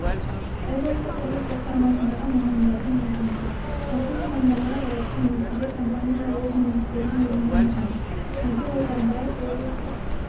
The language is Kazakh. облыстық құрылыс басқармасындағы мамандардың айтуынша осы нысандарға жауапты мердігер компаниялар өз міндеттерін орындамаған мәди отарбаев облыстық